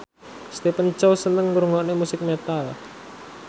Stephen Chow seneng ngrungokne musik metal